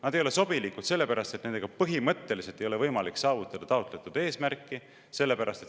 Nad ei ole sobilikud sellepärast, et nendega põhimõtteliselt ei ole võimalik saavutada taotletud eesmärki.